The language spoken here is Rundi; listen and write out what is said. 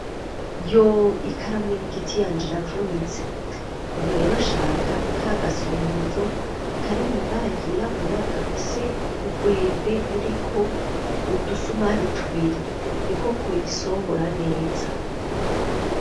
Yo ikaramu y'igiti yanje iravunitse! Ubu rero nshaka ka gasongozo karimwo ibara ryirabura gafise urwembe ruriko udusumari tubiri niko koyisongora neza.